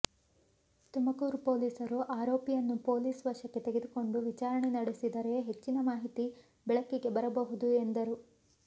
ತುಮಕೂರು ಪೊಲೀಸರು ಆರೋಪಿಯನ್ನು ಪೊಲೀಸ್ ವಶಕ್ಕೆ ತೆಗೆದುಕೊಂಡು ವಿಚಾರಣೆ ನಡೆಸಿದರೆ ಹೆಚ್ಚಿನ ಮಾಹಿತಿ ಬೆಳಕಿಗೆ ಬರಬಹುದು ಎಂದರು